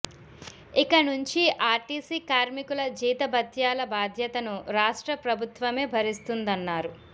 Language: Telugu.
ఇక నుంచి ఆర్టీసీ కార్మికుల జీతభత్యాల బాధ్యతను రాష్ట్ర ప్రభుత్వమే భరిస్తుందన్నారు